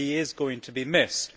He is going to be missed.